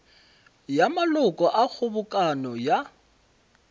ya maloko a kgobokano ya